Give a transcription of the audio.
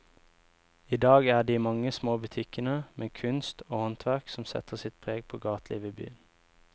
I dag er det de mange små butikkene med kunst og håndverk som setter sitt preg på gatelivet i byen.